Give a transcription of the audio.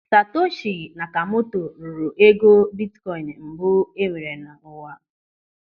Satoshi Nakamoto rụrụ ego bitkoin mbụ enwere n'ụwa.